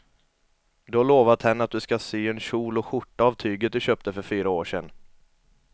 Du har lovat henne att du ska sy en kjol och skjorta av tyget du köpte för fyra år sedan.